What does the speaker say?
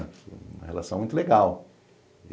Uma relação muito legal.